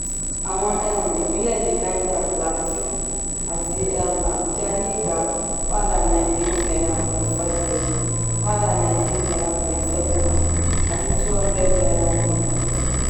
àwọn um ìpínlẹ̀ bí niger plateau àti um abuja ní ígbà one humdred and ninety eight naira point five zero, one hundred and ninety eight naira point seven one àti two hundred naira litre.